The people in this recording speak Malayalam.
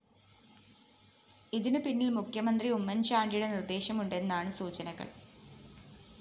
ഇതിനു പിന്നില്‍ മുഖ്യമന്ത്രി ഉമ്മന്‍ ചാണ്ടിയുടെ നിര്‍ദ്ദേശം ഉണ്ടെന്നാണ്‌ സൂചനകള്‍